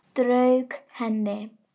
Strauk henni.